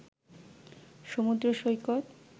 সমুদ্র সৈকত